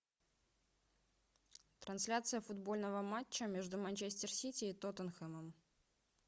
трансляция футбольного матча между манчестер сити и тоттенхэмом